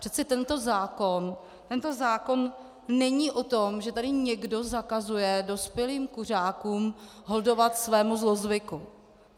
Přece tento zákon není o tom, že tady někdo zakazuje dospělým kuřákům holdovat svému zlozvyku.